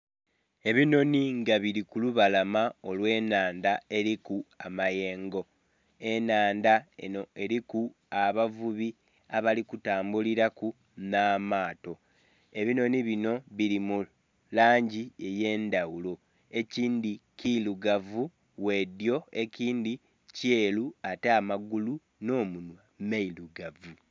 Ebinhonhi nga bili ku lubalama olwe nhandha eriku amayengo, enhandha enho eliku abavubi abali kutambulilaku nha maato. Ebinhonhi binho bili mu langi eyendhaghulo ekindhi kirugavu bwe dhyo ekindhi kyeru ate amagulu nho munhwa birugavu.